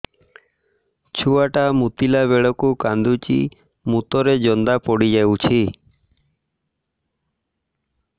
ଛୁଆ ଟା ମୁତିଲା ବେଳକୁ କାନ୍ଦୁଚି ମୁତ ରେ ଜନ୍ଦା ପଡ଼ି ଯାଉଛି